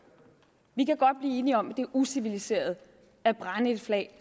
vi kan godt blive enige om det er uciviliseret at brænde et flag